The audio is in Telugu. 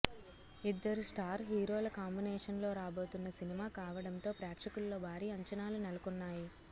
ఇద్దరు స్టార్ హీరోల కాంబినేషన్ లో రాబోతున్న సినిమా కావడంతో ప్రేక్షకుల్లో భారీ అంచనాలు నెలకొన్నాయి